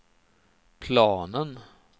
planen